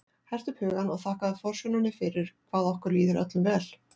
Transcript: Hertu upp hugann og þakkaðu forsjóninni fyrir hvað okkur líður öllum vel.